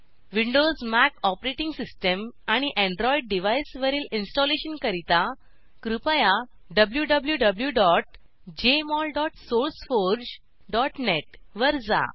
Windows Mac OS आणि Android डिव्हाइसवरील इंस्टॉलेशनकरीता कृपया wwwjmolsourceforgenet वर जा